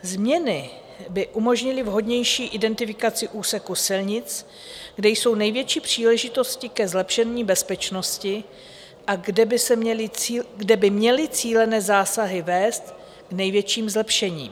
Změny by umožnily vhodnější identifikaci úseků silnic, kde jsou největší příležitosti ke zlepšení bezpečnosti a kde by měly cílené zásahy vést k největším zlepšením.